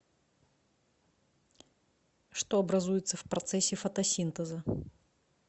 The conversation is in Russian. что образуется в процессе фотосинтеза